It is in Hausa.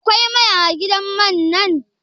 Akwai mai a gidan man nan?